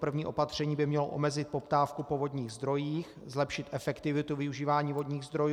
První opatření by mělo omezit poptávku po vodních zdrojích, zlepšit efektivitu využívání vodních zdrojů.